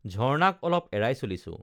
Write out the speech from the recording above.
ঝৰ্ণাক অলপ এৰাই চলিছো